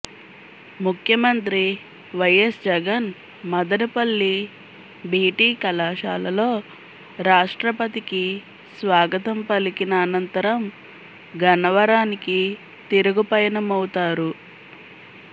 ముఖ్యమంత్రి YS Jagan Madanapalle BT కళాశాలలో రాష్ట్రపతికి స్వాగతం పలికిన అనంతరం గన్నవరానికి తిరుగుపయనమవుతారు